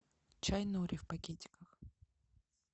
чай нури в пакетиках